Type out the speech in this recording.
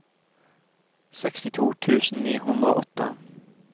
sekstito tusen ni hundre og åtte